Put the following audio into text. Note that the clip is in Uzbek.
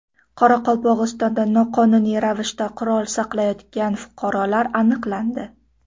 Qoraqalpog‘istonda noqonuniy ravishda qurol saqlayotgan fuqarolar aniqlandi.